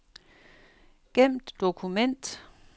Gem dokument.